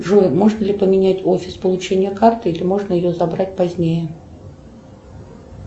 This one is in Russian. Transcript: джой можно ли поменять офис получения карты или можно ее забрать позднее